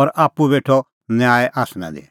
और आप्पू बेठअ न्याय आसना दी